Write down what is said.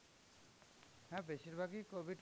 হ্যাঁ বেশির ভাগ ই covid